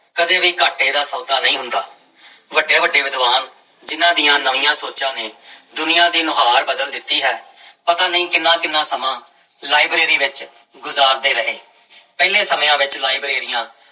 ਕਦੇ ਵੀ ਘਾਟੇ ਦਾ ਸੌਦਾ ਨਹੀਂ ਹੁੰਦਾ ਵੱਡੇ ਵੱਡੇ ਵਿਦਵਾਨ ਜਿਹਨਾਂ ਦੀ ਨਵੀਆਂ ਸੋਚਾਂ ਨੇ ਦੁਨੀਆਂ ਦੀ ਨੁਹਾਰ ਬਦਲ ਦਿੱਤੀ ਹੈ ਪਤਾ ਨੀ ਕਿੰਨਾ ਕਿੰਨਾ ਲਾਇਬ੍ਰੇਰੀ ਵਿੱਚ ਗੁਜ਼ਾਰਦੇ ਰਹੇ ਪਹਿਲੇ ਸਮਿਆਂ ਵਿੱਚ ਲਾਇਬ੍ਰੇਰੀਆਂ